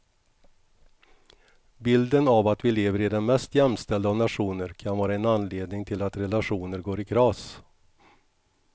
Bilden av att vi lever i den mest jämställda av nationer kan vara en anledning till att relationer går i kras.